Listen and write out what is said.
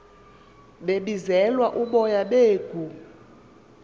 kwebizelwa uboya beegu